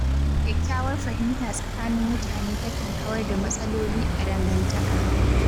Kyakkyawar fahimta tsakanin mutane takan kawar da matsaloli a dangantaka.